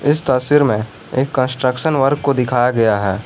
इस तस्वीर में एक कंस्ट्रक्शन वर्क को दिखाया गया है।